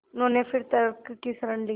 उन्होंने फिर तर्क की शरण ली